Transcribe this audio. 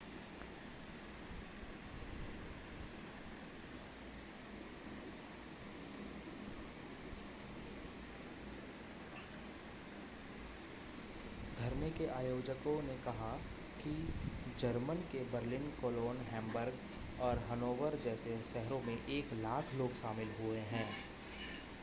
धरने के आयोजकों ने कहा कि जर्मन के बर्लिन कोलोन हैम्बर्ग और हनोवर जैसे शहरों में 100,000 लोग शामिल हुए हैं